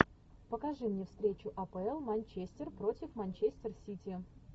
покажи мне встречу апл манчестер против манчестер сити